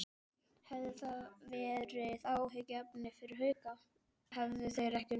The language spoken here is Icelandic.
Hefði það verið áhyggjuefni fyrir Hauka, hefðu þeir ekki unnið?